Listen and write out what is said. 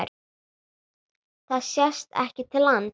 Það sést ekki til lands.